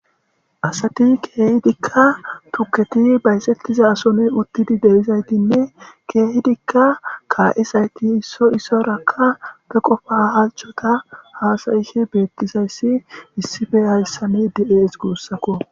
`Asati keehidikka tukketi bayzetidason utidi de7izaytinne keehidinne ka7izayti issoy issuwara be qofa halchchota haasa7ishe beetizayssi issippe hayssani de7eeskko guusako.